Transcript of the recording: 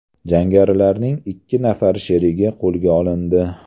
Jangarilarning ikki nafar sherigi qo‘lga olindi.